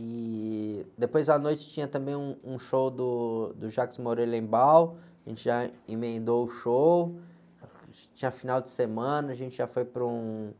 e depois à noite tinha também um, um show do, do, a gente já emendou o show, tinha final de semana, a gente já foi para um,